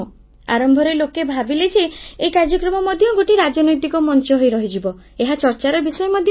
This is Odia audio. ଆରମ୍ଭରେ ଲୋକେ ଭାବିଲେ ଯେ ଏହି କାର୍ଯ୍ୟକ୍ରମ ମଧ୍ୟ ଗୋଟିଏ ରାଜନୈତିକ ମଞ୍ଚ ହୋଇ ରହିଯିବ ଏହା ଚର୍ଚ୍ଚାର ବିଷୟ ମଧ୍ୟ ହେଲା